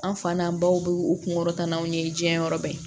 An fa n'an baw bɛ u kunkolo taa n'aw ye diɲɛ yɔrɔ bɛɛ